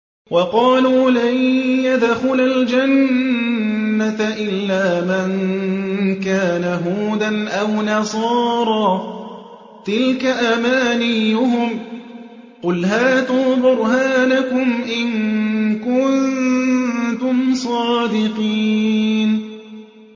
وَقَالُوا لَن يَدْخُلَ الْجَنَّةَ إِلَّا مَن كَانَ هُودًا أَوْ نَصَارَىٰ ۗ تِلْكَ أَمَانِيُّهُمْ ۗ قُلْ هَاتُوا بُرْهَانَكُمْ إِن كُنتُمْ صَادِقِينَ